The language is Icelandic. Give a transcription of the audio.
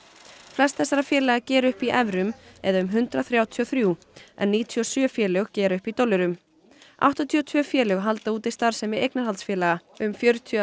flest þessara félaga gera upp í evrum eða um hundrað þrjátíu og þrjú en níutíu og sjö félög gera upp í dollurum áttatíu og tvö félög halda úti starfsemi eignarhaldsfélaga um fjörutíu